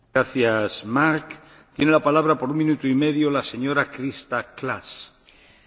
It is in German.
Herr Präsident! Endlich wurde ein Konsens über die Zukunft der Gemeinsamen Agrarpolitik gefunden.